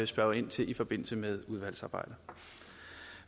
spørge ind til i forbindelse med udvalgsarbejdet